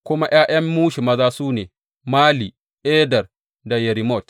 Kuma ’ya’yan Mushi maza su ne, Mali, Eder da Yerimot.